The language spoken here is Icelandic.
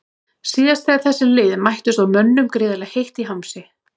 Síðast þegar þessi lið mættust var mönnum gríðarlega heitt í hamsi.